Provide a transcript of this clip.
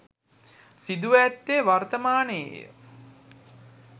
සිදුව ඇත්තේ වර්තමානයේය